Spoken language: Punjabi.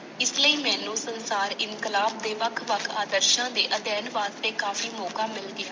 ਇਸ ਲਈ ਮੈਨੂੰ ਸੰਸਾਰ ਇਨਕਲਾਬ ਦੇ ਵੱਖ ਵੱਖ ਆਦਰਸ਼ਾਂ ਦੇ ਅਧਿਐਨ ਵਾਦ ਤੇ ਕਾਫ਼ੀ ਮੌਕਾ ਮਿਲ ਗਿਆ।